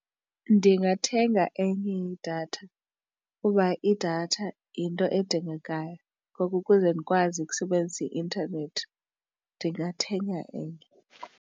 Ndingathenga enye idatha kuba idatha yinto edingekayo ngoko ukuze ndikwazi ukusebenzisa i-intanethi ndingathenga enye.